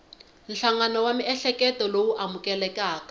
nhlangano wa miehleketo lowu amukelekaka